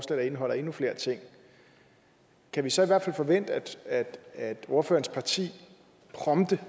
der indeholder endnu flere ting kan vi så forvente at ordførerens parti prompte